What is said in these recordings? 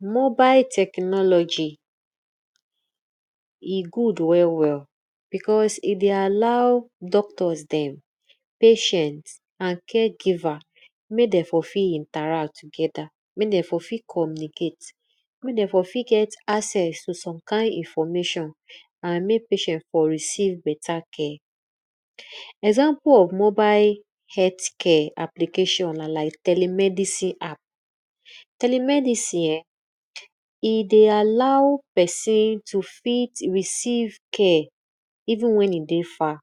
Mobile technology e good well well because e dey allow doctors dem, patient, and caregiver mek den for fit interact together, mek den for fit communicate, mek dem for fit get some kind information andmek patient for receive bata care. Example of mobile health care application na telemedicine app. Telemedicine eh e dey allow pesin to receive care even wen e dey far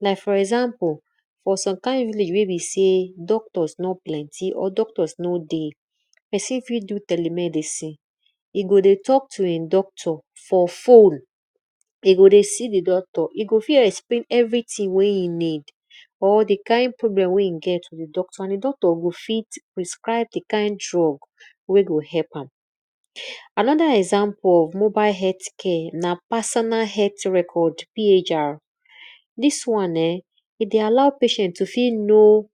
like for example for some kind village wey be sey doctors no plenty or doctors no dey, pesin fit do telemedicine, e go dey talk to di doctor for fone, e go dey see di doctor, e go fit explane everything wey e need and di doctor go fit prescribe drugs wey go help am.anoda example of mobile helth care na personal health record PHR. Dis wan[um]e dey allow patient to fit know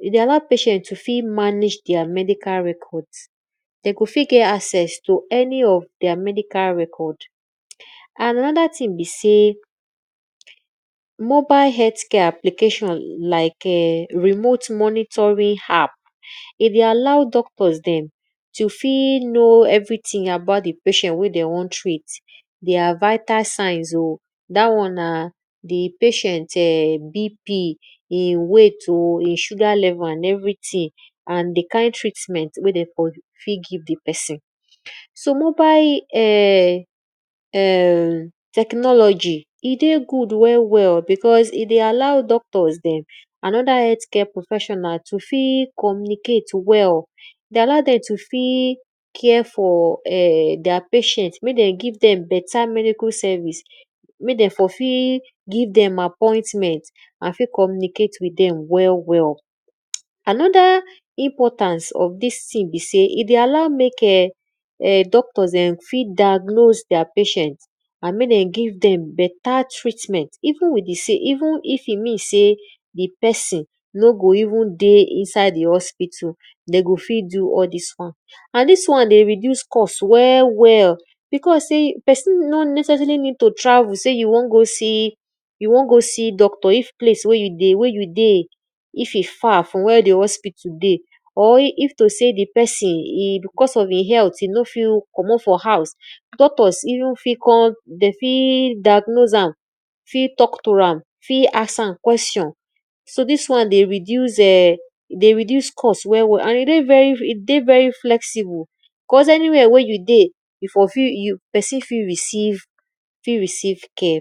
e dey allow patient to fit manage their medical record, de go fit get access to to any of their medical record. And anoda thing be sey, mobile health care application like[um]remote monitoring app, e dey allow doctors dem to fit know everything about di patient wey de won treat, their vital signs o, dat won na di patient[um]BP e weight, e sugar level and everything and di kind treat ment wey de for fit give di pesin. So mobile technology e dey good welm well because e dey allow doctors dem and anoda helaht care professional to fit communicate well to fit care for their patient mek dem give dem beta mircle service mek den for fit give dem appointment and fit communicate with dem well well. Anoda importance of dis thing be sey e dey allow mek[um]doctors[um]fit diagnose their patient and mek dem give dem, beta treatment even if e mean sey di pesin no go even dey inside di hospital, de go fit do all dis won. Nd dis won dey reduce cost ell well, because sey pesin no neccessarily need to travel sey you won gosee you won go see doctor if place wey you dey if e far from where di hospital dey or if to sey di pesin e because of e health e no fit commot for house, doctors even fit call de fit dignose am, fit talk to am, fit ask am question so dis wan dey reduce cost wellw well and e dey very flexible cause any where wey you dey, pesin fit receive care.